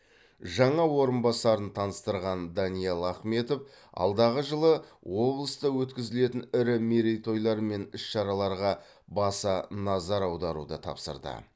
жаңа орынбасарын таныстырған даниал ахметов алдағы жылы облыста өткізілетін ірі мерейтойлар мен іс шараларға баса назар аударуды тапсырды